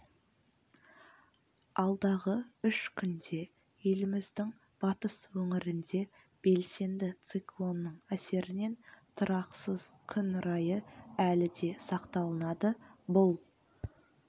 алдағы үш күнде еліміздің батыс өңірінде белсенді циклонның әсерінен тұрақсыз күн райы әлі де сақталынады бұл